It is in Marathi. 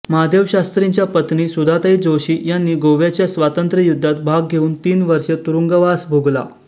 महादेवशास्त्रींच्या पत्नी सुधाताई जोशी यांनी गोव्याच्या स्वातंत्र्ययुद्धात भाग घेऊन तीन वर्षे तुरुंगवास भोगला